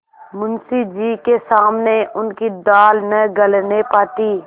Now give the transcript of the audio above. मुंशी जी के सामने उनकी दाल न गलने पाती